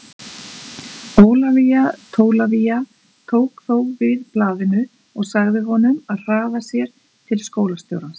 Ólafía Tólafía tók þó við blaðinu og sagði honum að hraða sér til skólastjórans.